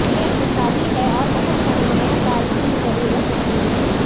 یہ اقتصادی ہے اور بہت سرمایہ کاری کی ضرورت نہیں ہے